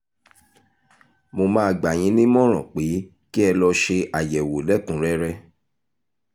mo máa gbà yín nímọ̀ràn pé kí ẹ lọ ṣe àyẹ̀wò lẹ́kùn-únrẹ́rẹ́